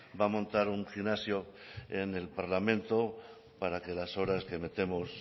va a montar un gimnasio en el parlamento para que las horas que metemos